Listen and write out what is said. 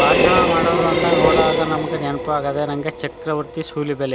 ಬಾಷಣ ಮಾಡೋರು ಅಂದಾಗ ನೋಡೋ ಹಾಗೆ ನಮ್ಮಗೆ ನೆನಪಾಗೋದೆ ನಂಗೆ ಚಕ್ರವರ್ತಿ ಸೂಲಿಬೆಲೆ.